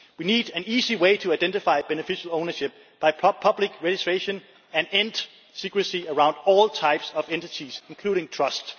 We need an easy way to identify beneficial ownership by public registration and end the secrecy around all types of entities, including trusts.